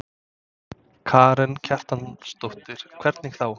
Karen Kjartansdóttir: Hvernig þá?